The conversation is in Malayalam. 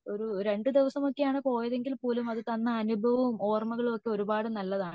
രണ്ടു ദിവസമാണ് പോയതെങ്കിൽ പോലും അത് തന്ന അനുഭവവും ഓർമകളും ഒക്കെ ഒരുപാട് നല്ലതാണ്